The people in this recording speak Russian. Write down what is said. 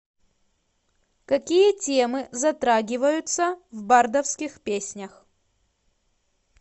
какие темы затрагиваются в бардовских песнях